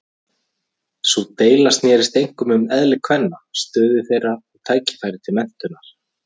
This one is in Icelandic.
Sú deila snerist einkum um eðli kvenna, stöðu þeirra og tækifæri til menntunar.